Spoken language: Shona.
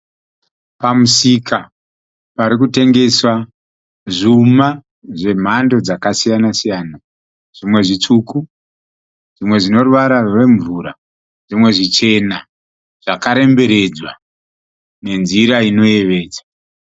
Pamusika parikutengeswa zvuma zvemhando dzakasiyana siyana. Zvimwe zvitsvuku, zvimwe zvine ruvara rwemvura, zvimwe zvichena zvakaremberedzwa nenzira inoyevedza